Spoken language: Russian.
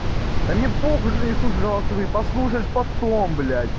да мне похуй что ты не слушаешь голосовые послушать потом бля